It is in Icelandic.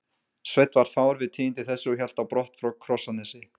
Sveinn varð fár við tíðindi þessi og hélt á brott frá Krossanesi.